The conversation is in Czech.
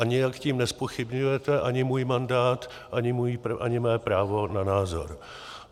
A nijak tím nezpochybňujete ani můj mandát, ani mé právo na názor.